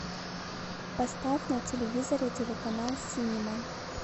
поставь на телевизоре телеканал синема